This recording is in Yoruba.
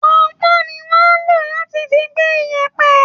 ponpon ni wón ń lò láti fi gbé ìyẹ̀pẹ̀